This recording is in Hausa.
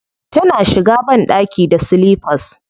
Tana shiga banɗaki da silifas.